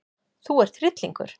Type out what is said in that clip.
Þú ert hryllingur!